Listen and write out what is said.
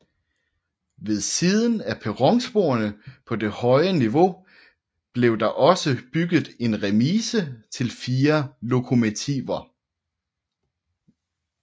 Ved siden af perronsporene på det høje niveau blev der også bygget en remise til fire lokomotiver